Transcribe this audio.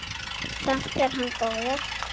Samt er hann góður.